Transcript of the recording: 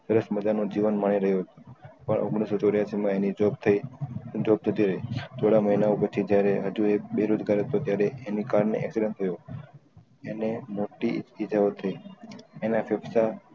સરસ મજા નો જીવન માહી રહ્યો હતો પણ ઓઘ્નીશ સૌ ચૌરાસી માં એની job થઇ એની job જતી રહી થોડા મહિનાઓં પહચી જયારે અજુ એક બેરોજગાર હતો ત્યારે એની કાર ને accident થયો એને મોટી એના ફેફડા